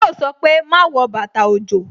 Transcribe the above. Yo sọ pé "Má wọ bàtà òjò"